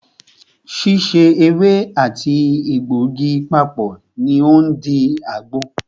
Síse ewé àti àti egbògi papọ̀ ní o ń di àgbo.